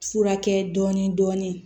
Furakɛ dɔɔnin dɔɔnin